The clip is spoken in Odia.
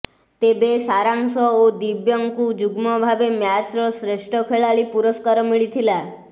ତେବେ ସାରାଂଶ ଓ ଦିବ୍ୟଙ୍କୁ ଯୁଗ୍ମ ଭାବେ ମ୍ୟାଚ୍ର ଶ୍ରେଷ୍ଠ ଖେଳାଳି ପୁରସ୍କାର ମିଳିଥିଲା